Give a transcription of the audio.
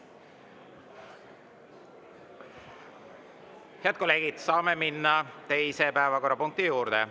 Head kolleegid, saame minna teise päevakorrapunkti juurde.